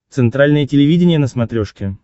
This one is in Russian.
центральное телевидение на смотрешке